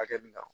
Hakɛ min kan